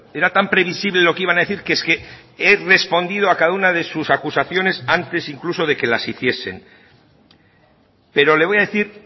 era tan previsible lo que iban a decir que es que he respondido a cada una de sus acusaciones antes incluso de que las hiciesen pero le voy a decir